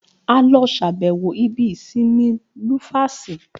A lọ ṣàbẹ̀wọ̀ ibi ìsinmi Lufasi